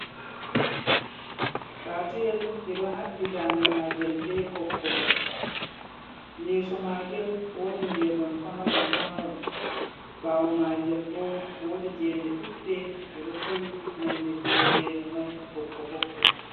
Patuyel ɓe ɗo haɓɓi ndande magel be ɓoggol, yeeso magel woodi geenon pamaron pamaron ɓawo magel bo wiodi gene ɗuɗɗe, ɗe ɗo towi nonde geene mai ɓokko ɓokko.